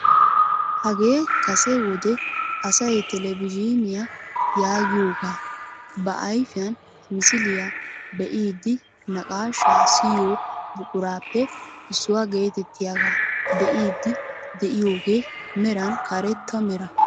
Hagee kase wode asay televizhiiniyaa yaagiyoogaa ba ayfiyaan misiliyaa be'iidi naqaashshaa siyoo buquraappe issuwaa getettiyaagaa be'iidi de'iyooge meran karetta mera.